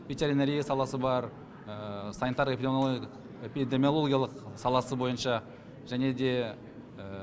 ветеринария саласы бар санитар эпидемиологиялық саласы бойынша және де